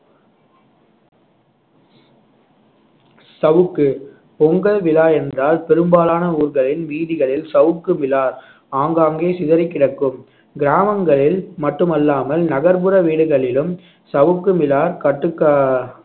சவுக்கு பொங்கல் விழா என்றால் பெரும்பாலான ஊர்களின் வீதிகளில் சவுக்கு மிலார் ஆங்காங்கே சிதறிக்கிடக்கும் கிராமங்களில் மட்டுமல்லாமல் நகர்ப்புற வீடுகளிலும் சவுக்கு மிலார் கட்டுக்க~